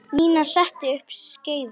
Nína setti upp skeifu.